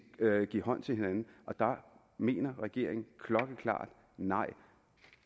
give hånd til hinanden og der mener regeringen klokkeklart nej